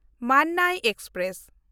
Mannai express